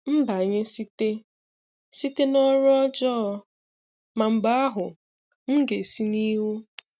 Mbànyè site site n’ọrụ́ ọjọọ, mà mgbe ahụ, m gā-esi n’ihu